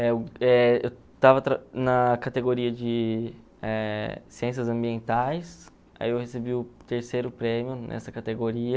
na categoria de eh Ciências Ambientais, aí eu recebi o terceiro prêmio nessa categoria.